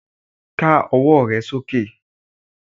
ká ọwọ re soke!